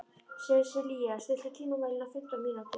Sesilía, stilltu tímamælinn á fimmtán mínútur.